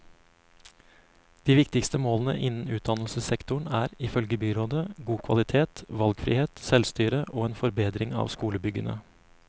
De viktigste målene innen utdannelsessektoren er, ifølge byrådet, god kvalitet, valgfrihet, selvstyre og en forbedring av skolebyggene.